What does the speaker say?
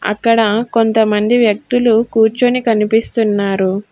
అక్కడ కొంతమంది వ్యక్తులు కూర్చోని కనిపిస్తున్నారు.